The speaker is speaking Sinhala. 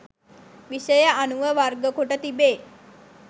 විෂය අනුව වර්ගකොට තිබේ